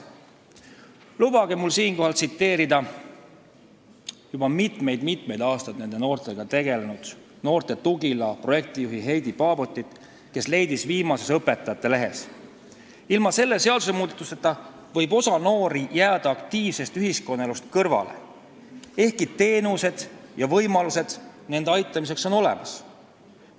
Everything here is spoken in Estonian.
Lubage mul siinkohal tsiteerida juba mitmeid aastaid nende noortega tegelenud "Noorte tugila" projektijuhti Heidi Paabortit, kes leidis viimases Õpetajate Lehes: "Selle seadusemuudatuseta võib osa noori jääda aktiivsest ühiskonnaelust kõrvale, ehkki teenused ja võimalused nende aitamiseks on olemas.